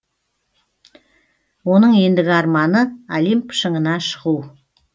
оның ендігі арманы олимп шыңына шығу